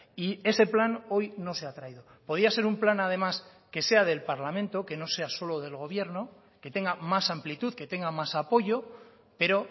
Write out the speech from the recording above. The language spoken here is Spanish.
y ese plan hoy no se ha traído podía ser un plan además que sea del parlamento que no sea solo del gobierno que tenga más amplitud que tenga más apoyo pero